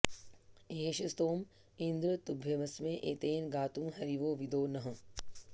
ए॒ष स्तोम॑ इन्द्र॒ तुभ्य॑म॒स्मे ए॒तेन॑ गा॒तुं ह॑रिवो विदो नः